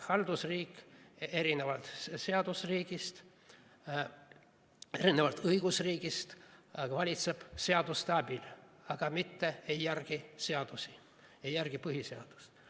Haldusriik erinevalt õigusriigist valitseb seaduste abil, aga mitte ei järgi seadusi, ei järgi põhiseadust.